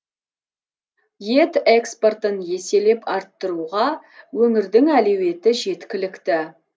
ет экспортын еселеп арттыруға өңірдің әлеуеті жеткілікті